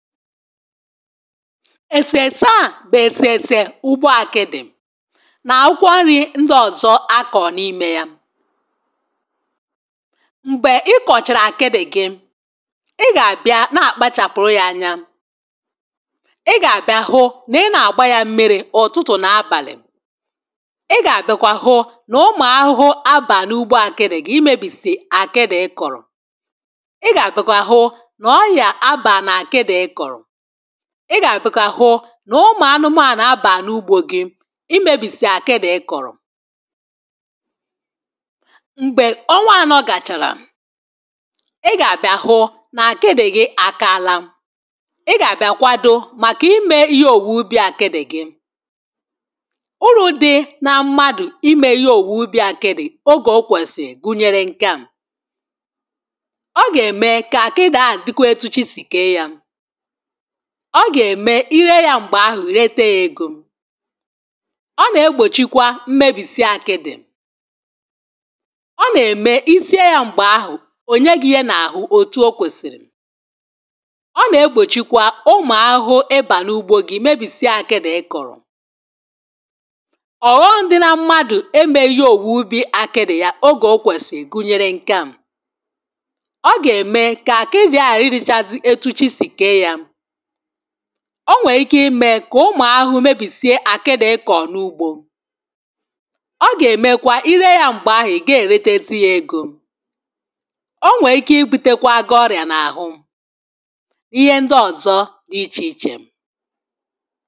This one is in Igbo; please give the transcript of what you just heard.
èsèèsè à bụ̀ èsèèsè ugbo àkịdị̀ na àkwụkwọ nri̇ ndị ọ̀zọ akọ̀ n’imė yȧ m̀gbè ị kọ̀chàrà àkịdị̇ gị̇ ị gà-àbịa nà-àkpachàpụ̀rụ yȧ anya ị gà-àbịa hụ nà ị nà-àgba yȧ mmiri̇ ụ̀tụtụ̀ nà abàlị̀ ị gà-àbịakwa hụ nà ụmụ̀ ahụhụ abàlị̀ ugbo àkịdị̇ gị imėbìsè àkịdị̇ ị kọ̀rọ̀ ị gà-àbịakwa hụ nà ụmụ̀ anụmȧnụ̀ abà n’ugbȯ gị imėbìsì àkịdị̇ ị kọ̀rọ̀ m̀gbè onwa nọ̀gàchàrà ị gà-àbịa hụ nà àkịdị̇ gị àkaala ị gà-àbịa kwado màkà imė ihe òwùwè ubi̇ àkịdị̇ gị ụrụ̇ dị na mmadụ̀ imė ihe òwùwè ubi̇ àkịdị̇ ogè okwèsì gụnyere nkem ọ gà-ème kà àkịdị ahụ̀ dịkụ etu chi̇ sì kèe yȧ ọ gà-ème ile yȧ m̀gbè ahụ̀ rete ya egȯ ọ nà-egbòchikwa mmebìsie akịdị̇ ọ nà-ème isie yȧ m̀gbè ahụ̀ ònye gị̇ yė n’àhụ òtù o kwèsìrì ọ nà-egbòchikwa ụmụ̀ ahụhụ e bà n’ugbȯ gị mebìsie akịdị̇ ịkọ̀rọ̀ ọ̀ghọṁ dị na mmadụ̀ eme ihe òwuubi akịdị̇ ya ogè o kwèsì gunyere ǹke a ọ gà-ème kà àkịrị ahà riri chazị etu chi sì kee yȧ onwè ike imė kà ụmụ̀ ahụ̀ umùubìsìe àkịdị̇ ịkọ̀ n’ugbȯ ọ gà-èmekwa ire yȧ m̀gbè ahụ̀ ị̀ ga-èretesi̇ yȧ egȯ onwè ike ibu̇tekwa aga-ọrị̀à n’àhụ ihe ndị ọ̀zọ dị ichè ichè